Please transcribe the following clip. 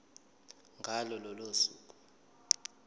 ngalo lolo suku